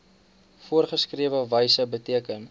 voorgeskrewe wyse beteken